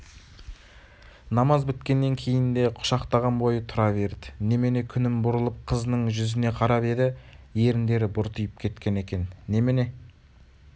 намаз біткеннен кейін де құшақтаған бойы тұра берді немене күнім бұрылып қызының жүзіне қарап еді еріндері бұртиып кеткен екен немене